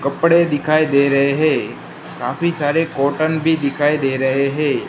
कपड़े दिखाई दे रहे है काफी सारे कॉटन भी दिखाई दे रहे है।